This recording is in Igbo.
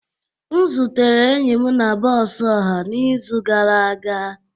M zutere enyi m na bọs ọha n'izu gara aga.